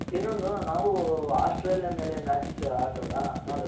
ಇನ್ನೊಂದು ನಾವು ಆಸ್ಟ್ರೇಲಿಯ ಮೇಲೆ match ಆಡ್ದ್ರಲ್ಲ ನೋಡುದ್ರಲ್ಲ